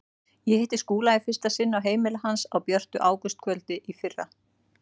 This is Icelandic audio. Ég hitti Skúla í fyrsta sinn á heimili hans á björtu ágústkvöldi í fyrra.